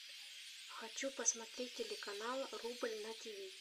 хочу посмотреть телеканал рубль на тиви